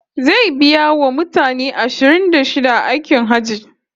Zai biya wa mutane ashirin da shida aikin Hajji